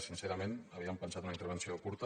sincerament havíem pensat una intervenció curta